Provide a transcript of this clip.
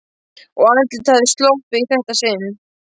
Og andlitið hafði sloppið í þetta sinn.